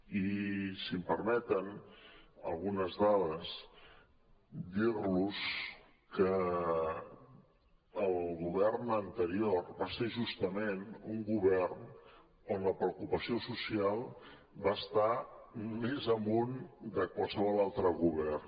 i si em permeten algunes dades dir los que el govern anterior va ser justament un govern on la preocupació social va estar més amunt que en qualsevol altre govern